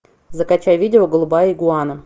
закачай видео голубая игуана